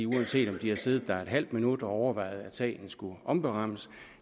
uanset at de har siddet der et halvt minut og overvejet at sagen skulle omberammes